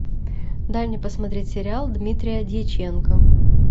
дай мне посмотреть сериал дмитрия дьяченко